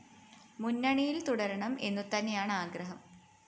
മുന്നണിയില്‍ തുടരണം എന്നുതന്നെയാണ് ആഗ്രഹം